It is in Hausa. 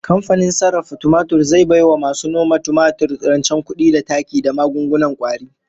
Kamfanin sarrafa tumatir zai bai wa masu noma tumatir rancen kudi da taki da magungunan kwari